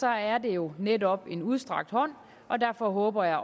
er det jo netop en udstrakt hånd og derfor håber jeg